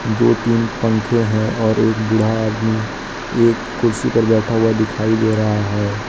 दो तीन पंखे हैं और एक बूढ़ा आदमी एक कुर्सी पर बैठा हुआ दिखाई दे रहा है।